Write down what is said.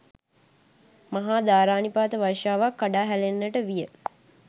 මහා ධාරානිපාත වර්ෂාවක් කඩා හැලෙන්නට විය.